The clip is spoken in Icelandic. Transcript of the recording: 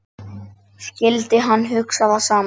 Skyldi hann hugsa það sama?